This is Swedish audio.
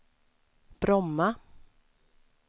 Bromma